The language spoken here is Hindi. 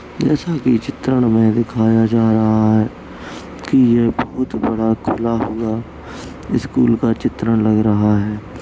जैसा कि चित्रण मे दिखाया जा रहा है कि ये बोहोत बड़ा खुला हुआ स्कूल का चित्रण लग रहा है।